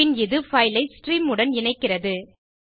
பின் இது பைல் ஐ ஸ்ட்ரீம் உடன் இணைக்கிறது